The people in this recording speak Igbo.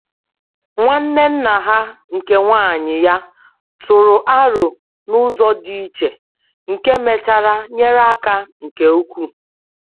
Nwanne nna ha nke nwanyị ya tụrụ aro n'ụzọ dị iche, nke mechara nyere aka nke ukwuu.